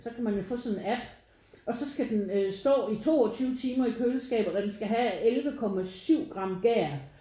Så kan man jo få sådan en app. Og så skal den stå i 22 timer i køleskabet og den skal have 11,7 gram gær